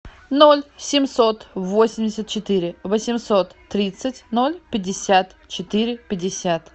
ноль семьсот восемьдесят четыре восемьсот тридцать ноль пятьдесят четыре пятьдесят